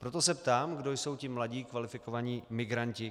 Proto se ptám, kdo jsou ti mladí kvalifikovaní migranti.